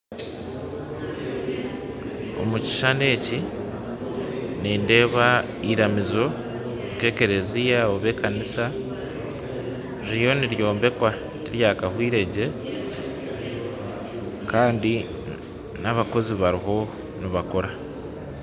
Omukishani eki nindeba iramizo nkekereziya ob'ekanisa ririyo niry'ombekwa tiryakahwiregye kandi n'abakozi bariho nibakora.